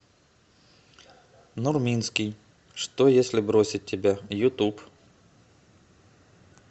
нурминский что если бросить тебя ютуб